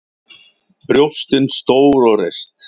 Brjóstin stór og reist.